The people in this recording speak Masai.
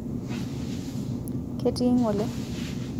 ketii ng'ole